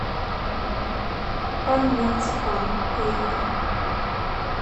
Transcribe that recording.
пан марципанъ поехали